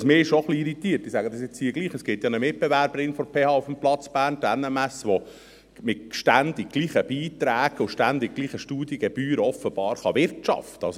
Und was mich schon etwas irritiert – ich sage dies hier jetzt trotzdem –, ist, dass es ja eine Mitbewerberin der PH auf dem Platz Bern gibt, die NMS, die mit ständig gleichen Beiträgen und ständig gleichen Studiengebühren offenbar wirtschaften kann.